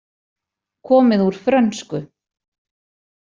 Komið úr frönsku.